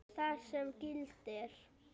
þar sem gildir